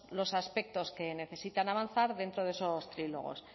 los aspectos que necesitan avanzar dentro de esos trílogos